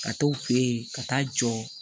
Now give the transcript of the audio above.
Ka t'o fɛ yen ka taa jɔ